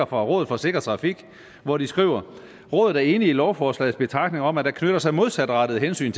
fra rådet for sikker trafik hvor de skriver rådet er enig i lovforslagets betragtninger om at der knytter sig modsatrettede hensyn